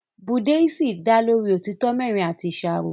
Búdíìsì dá lórí òtítọ́ mẹ́rin àti ìṣàrò